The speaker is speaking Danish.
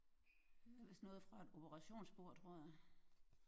Det er vist noget fra et operationsbord tror jeg